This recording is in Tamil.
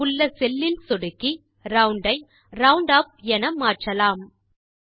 ரிசல்ட் உள்ள செல் லில் சொடுக்கி ரவுண்ட் ஐ ரவுண்டுப் என மாற்றலாம்